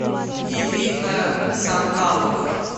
ирина санталова